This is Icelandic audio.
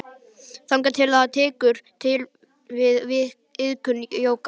Þangað til að hann tekur til við iðkun jóga.